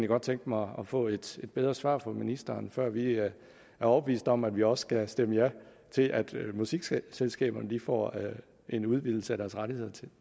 godt tænke mig at få et lidt bedre svar fra ministeren før vi er overbeviste om at vi også skal stemme ja til at musikselskaberne får en udvidelse af deres rettigheder